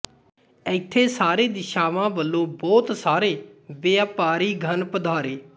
ਇੱਥੇ ਸਾਰੇ ਦਿਸ਼ਾਵਾਂ ਵਲੋਂ ਬਹੁਤ ਸਾਰੇ ਵਿਆਪਾਰੀਗਣ ਪਧਾਰੇ